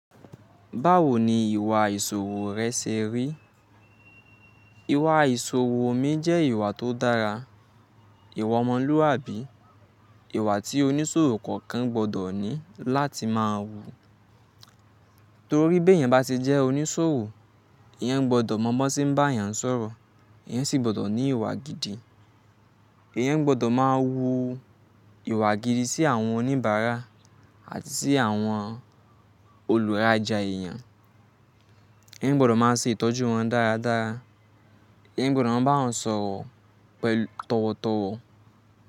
Báwo ni ìwà ìṣòwo rẹ ṣe rí? Ìwà ìṣòwo mi jẹ́ ìwà tó dára. Ìwà ọmọlúwàbí, ìwà tí oníṣòwo kọ̀ọ̀kan gbọ́dọ̀ ní láti máa wù. Torí bí èèyàn bá ṣe jẹ́ oníṣòwo, èèyàn gbọ́dọ̀ mọ bọ̀ tí ń bá èèyàn sọ̀rọ̀, èèyàn sì gbọ́dọ̀ ní ìwà gidi. Èèyàn gbọ́dọ̀ máa wu ìwà gidi sí àwọn oníbàárà àti sí àwọn olùrajà èèyàn. Ẹeyan gbọ́dọ̀ máa ṣe ìtọ́jú wọn dáradára. Ìyẹn gbọ́dọ̀ máa bá wọn sọ̀rọ̀ tọ̀wọ̀tọ̀wọ̀.